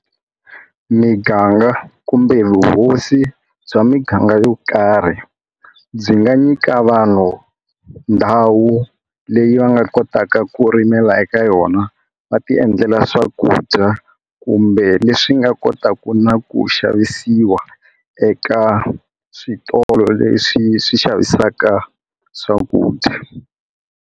Miganga kumbe vuhosi bya miganga yo karhi byi nga nyika vanhu ndhawu leyi va nga kotaka ku rimela eka yona va ti endlela swakudya kumbe leswi nga kota ku na ku xavisiwa eka switolo leswi swi xavisaka swakudya.